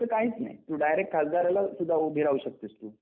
असं काहीच नाही तू डायरेक्ट खासदाराला सुद्धा उभी राहू शकतेस तू.